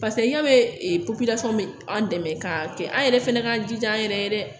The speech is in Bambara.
ya be e be an dɛmɛ k'a kɛ an yɛrɛ fɛnɛ k'an jija an yɛrɛ ye dɛ